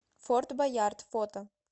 форт боярд фото